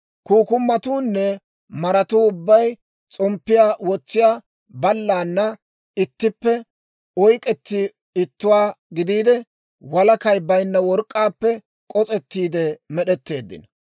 Kukkumatuunne maratuu ubbay s'omppiyaa wotsiyaa ballana ittippe oyk'k'etti ittuwaa gidiide, walakay baynna work'k'aappe k'os'ettiide med'etteeddino.